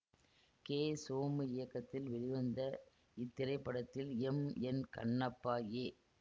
K Somu இயக்கத்தில் வெளிவந்த இத்திரைப்படத்தில் எம் என் கண்ணப்பா ஏ